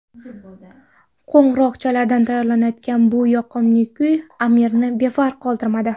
Qo‘ng‘iroqchalardan taralayotgan bu yoqimli kuy Amirni befarq qoldirmadi.